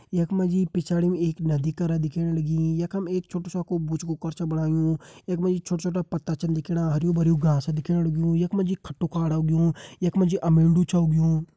यख मां जी पिछाड़ी म एक नदी कर दिखेण लगीं यखम एक छोटु सौकु बुचकु कर छ बणायुं यखमा जी छोटा-छोटा पत्ता छन दिखेणा हर्युं-भर्युं घास दिखेण लग्युं यख मा जी खट्टू खाडू उगयूं यखमां जी अमेडू छ उगयूं।